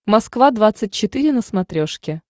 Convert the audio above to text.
москва двадцать четыре на смотрешке